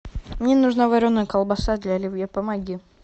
мне нужна вареная колбаса для оливье помоги